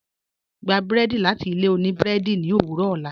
Gbà bùrẹ́dì láti ilẹ̀ ọ̀nì bùrẹ́dì ni owurọ̀ ọlá